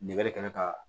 Nɛgɛ kanɲɛ ka